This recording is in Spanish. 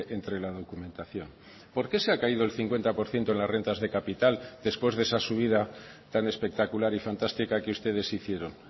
entre la documentación por qué se ha caído el cincuenta por ciento en las rentas de capital después de esa subida tan espectacular y fantástica que ustedes hicieron